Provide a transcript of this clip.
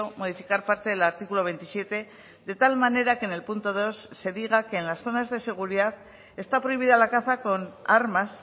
modificar parte del artículo veintisiete de tal manera que en el punto dos se diga que en las zonas de seguridad está prohibida la caza con armas